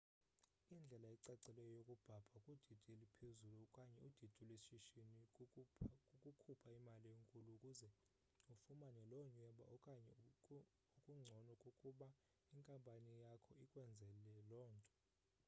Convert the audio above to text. indlela ecacileyo yokubhabha kudidi eluphezulu okanye udidi lweshishini kukukhupha imali enkulu ukuze ufumane lo nyweba okanye okungcono kukuba inkampani yakho ikwenzele lo nto